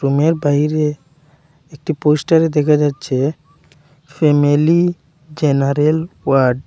রুমের বাইরে একটি পোস্টারে দেখা যাচ্ছে ফ্যামিলি জেনারেল ওয়ার্ড ।